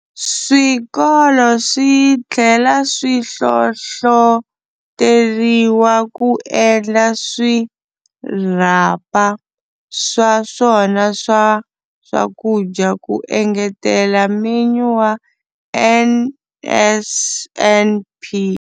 Swikolo swi tlhela swi hlohloteriwa ku endla swirhapa swa swona swa swakudya ku engetela menyu wa NSNP.